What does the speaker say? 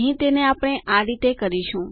અહીં તેને આપણે આ રીતે કરીશું